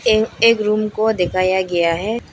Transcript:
ये एक रूम को दिखाया गया है।